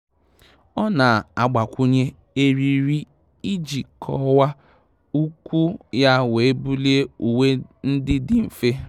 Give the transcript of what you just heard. Ọ́ nà-àgbakwụnye eriri iji kọ́wàá úkwù yá wee bulie uwe ndị dị mfe.